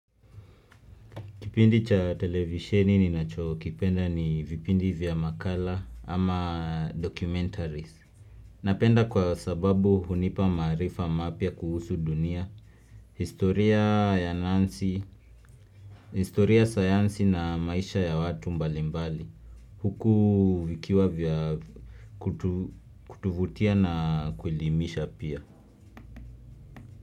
Kipindi cha televisheni ninacho kipenda ni vipindi vya makala ama documentaries. Napenda kwa sababu hunipa maarifa mapya kuhusu dunia, historia ya nansi, historia sayansi na maisha ya watu mbalimbali. Huku vikiwa vya kutuvutia na kuelimisha pia.